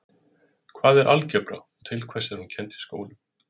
hvað er algebra og til hvers er hún kennd í skólum